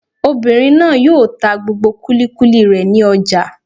Obìnrin náà yóò ta gbogbo kúlíkúlí rẹ̀ ní ọjà